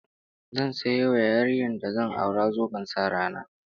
Zan sayo wa yarinyar da zan aura zoben sa rana